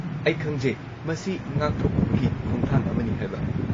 ꯑꯩ ꯈꯪꯖꯩ, ꯃꯁꯤ ꯉꯥꯛꯊꯣꯛꯅꯕꯒꯤ ꯈꯣꯡꯊꯥꯡ ꯑꯃꯅꯤ ꯍꯥꯏꯕ꯫